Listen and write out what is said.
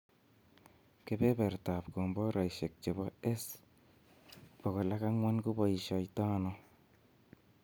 Kebebrtab komboraishek chebo S-400 koboisioito ano?